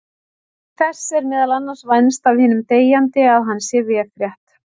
Þess er meðal annars vænst af hinum deyjandi að hann sé véfrétt.